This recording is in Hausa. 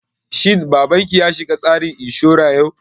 Shin babanki ya shiga tsarin inshura yau?